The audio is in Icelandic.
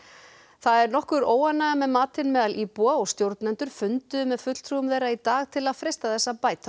það er nokkur óánægja með matinn meðal íbúa og stjórnendur funduðu með fulltrúum þeirra í dag til að freista þess að bæta